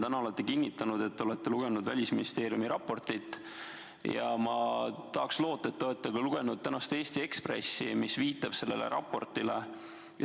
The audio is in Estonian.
Te olete täna kinnitanud, et olete lugenud Välisministeeriumi raportit, ja ma tahaks loota, et olete lugenud ka tänast Eesti Ekspressi, mis viitab sellele raportile.